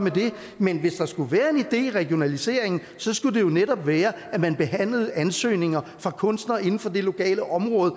men hvis der skulle være en idé i regionaliseringen skulle det jo netop være at man behandlede ansøgninger fra kunstnere inden for det lokale område